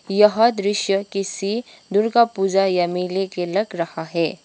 यह दृश्य किसी दुर्गा पूजा या मेले के लग रहा है।